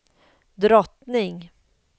drottning